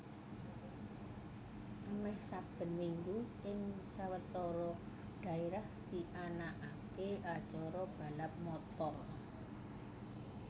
Amèh saben minggu ing sawetara dhaérah dianakaké acara balap motor